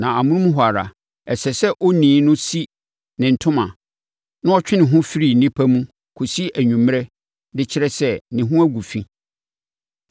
na amonom hɔ ara, ɛsɛ sɛ onii no si ne ntoma na ɔtwe ne ho firi nnipa mu kɔsi anwummerɛ de kyerɛ sɛ, ne ho agu fi.